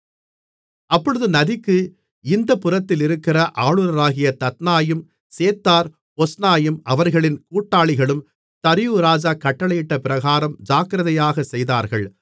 அப்பொழுது நதிக்கு இந்தப்புறத்திலிருக்கிற ஆளுனராகிய தத்னாயும் சேத்தார் பொஸ்னாயும் அவர்களின் கூட்டாளிகளும் தரியு ராஜா கட்டளையிட்ட பிரகாரம் ஜாக்கிரதையாக செய்தார்கள்